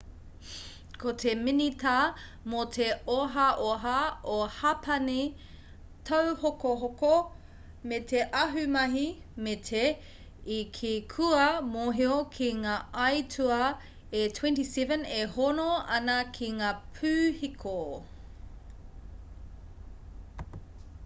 ko te minita mō te ohaoha o hapani tauhokohoko me te ahumahi meti i kī kua mōhio ki ngā aituā e 27 e hono ana ki ngā pūhiko